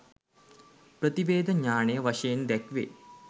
ප්‍රතිවේධ ඤාණය වශයෙන් දැක්වේ.